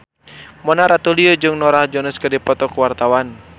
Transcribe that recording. Mona Ratuliu jeung Norah Jones keur dipoto ku wartawan